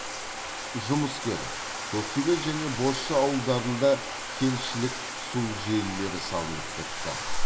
жұмыскер көктөбе және бозша ауылдарында кентішілік су желілері салынып бітті